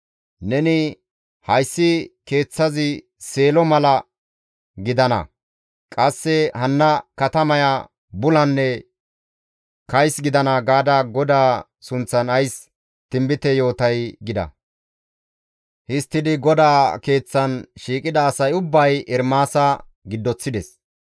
Neni, ‹Hayssi Keeththazi Seelo mala gidana; qasse hanna katamaya bulanne kays gidana› gaada GODAA sunththan ays tinbite yootay?» gida. Histtidi GODAA Keeththan shiiqida asay ubbay Ermaasa giddoththides.